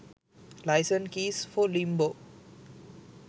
license keys for limbo